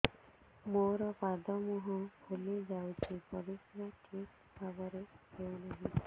ମୋର ପାଦ ମୁହଁ ଫୁଲି ଯାଉଛି ପରିସ୍ରା ଠିକ୍ ଭାବରେ ହେଉନାହିଁ